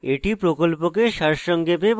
এটি প্রকল্পকে সারসংক্ষেপে বোঝায়